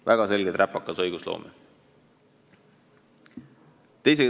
Väga selgelt räpakas õigusloome!